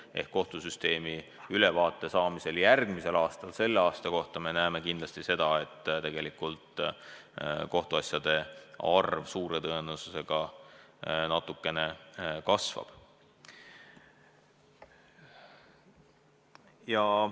Nii et kohtusüsteemi ülevaadet selle aasta kohta kuulates me järgmisel aastal saame kindlasti teada, et kohtuasjade arv on natukene kasvanud.